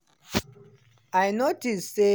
i notice say